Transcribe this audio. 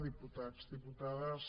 diputats diputades